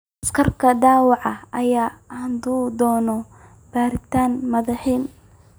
Askariga dhaawaca ah ayaa aadi doona baaritaan madaxa ah.